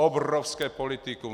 Obrovské politikum.